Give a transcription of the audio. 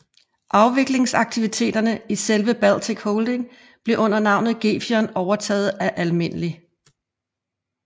Afviklingsaktiviteterne i selve Baltica Holding blev under navnet Gefion overtaget af Alm